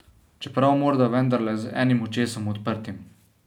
Čeprav morda vendarle z enim očesom odprtim.